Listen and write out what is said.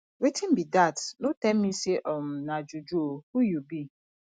wetin be dat no tell me say um na juju oo who you be